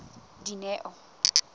dineo